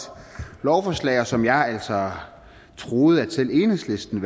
lovforslag og som jeg altså troede at selv enhedslisten